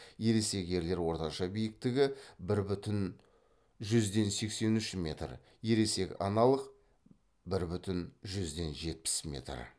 ересек ерлер орташа биіктігі бір бүтін жүзден сексен үш метр ересек аналық бір бүтін жүзден жетпіс метр